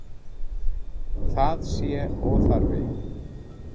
Það sé óþarfi.